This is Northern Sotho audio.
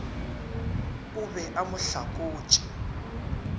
o be a mo hlakotše